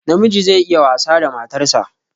Namiji zai iya wasa da matar sa